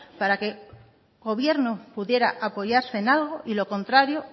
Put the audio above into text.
para que el gobierno pudiera apoyarse en algo y lo contrario